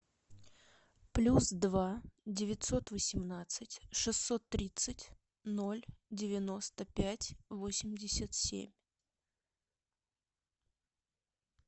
плюс два девятьсот восемнадцать шестьсот тридцать ноль девяносто пять восемьдесят семь